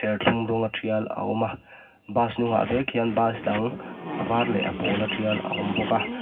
tial a awm a bus hnung ah vek hian bus dang a var leh a pawla trial a awm bawk a.